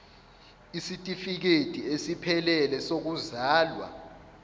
isitifikedi esiphelele sokuzalwa